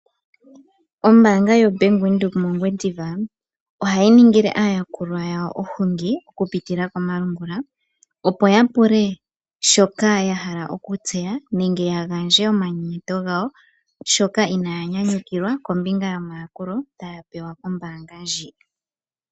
Ombaanga yoBank Windhoek mOngwediva ohayi ningile aayakulwa yawo ohungi okupitila komalungula opo yapule shoka yahala okutseya yagandje omanyenyeto gawo shoka inaaya nyanyukilwa kombinga yomayakulo taya pewa kombaanga ndjika.